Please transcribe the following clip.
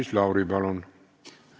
Maris Lauri, palun!